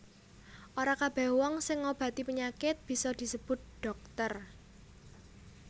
Ora kabèh wong sing ngobati panyakit bisa disebut dhokter